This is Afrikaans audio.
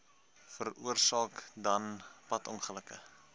veroorsaak dan padongelukke